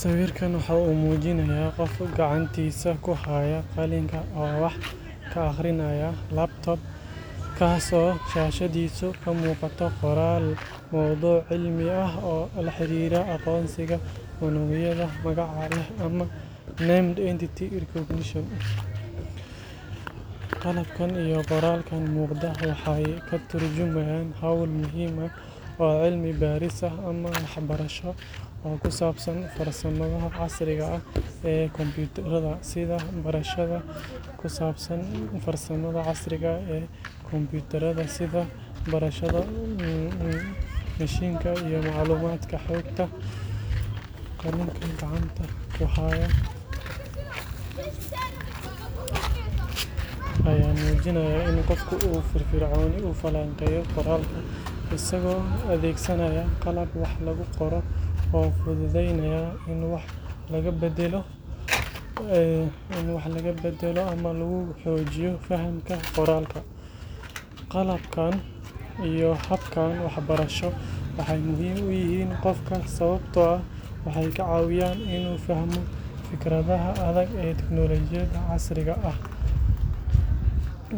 Sawirkan waxa uu muujinayaa qof gacantiisa ku haya qalinka oo wax ka akhrinaya laptop kaas oo shaashadiisu ka muuqato qoraal mawduuc cilmi ah oo la xiriira aqoonsiga unugyada magaca leh ama Named entity recognition. Qalabkan iyo qoraalka muuqda waxay ka turjumayaan hawl muhiim ah oo cilmi-baaris ah ama waxbarasho oo ku saabsan farsamada casriga ah ee kombiyuutarada sida barashada mashiinka iyo macluumaadka xogta. Qalinka gacanta ku haya ayaa muujinaya in qofka uu si firfircoon u falanqeynayo qoraalka, isagoo adeegsanaya qalab wax lagu qoro oo fududeynaya in wax laga beddelo ama lagu xoojiyo fahamka qoraalka. Qalabkan iyo habkan waxbarasho waxay muhiim u yihiin qofka sababtoo ah waxay ka caawinayaan inuu fahmo fikradaha adag ee tiknoolajiyada casriga ah,